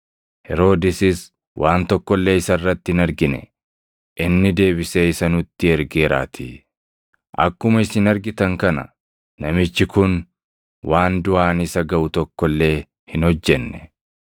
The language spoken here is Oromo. Heroodisis waan tokko illee isa irratti hin argine; inni deebisee isa nutti ergeeraatii. Akkuma isin argitan kana namichi kun waan duʼaan isa gaʼu tokko illee hin hojjenne.